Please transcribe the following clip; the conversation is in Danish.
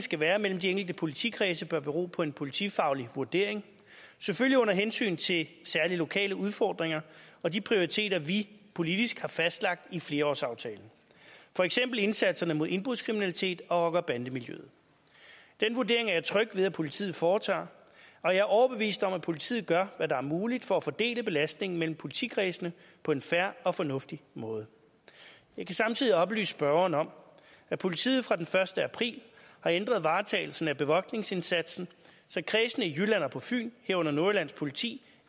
skal være mellem de enkelte politikredse bør bero på en politifaglig vurdering selvfølgelig under hensyn til særlige lokale udfordringer og de prioriteringer vi politisk har fastlagt i flerårsaftalen for eksempel indsatserne mod indbrudskriminalitet og rocker og bandemiljøet den vurdering er jeg tryg ved at politiet foretager og jeg er overbevist om at politiet gør hvad der er muligt for at fordele belastningen mellem politikredsene på en fair og fornuftig måde jeg kan samtidig oplyse spørgeren om at politiet fra den første april har ændret varetagelsen af bevogtningsindsatsen så kredsene i jylland og på fyn herunder nordjyllands politi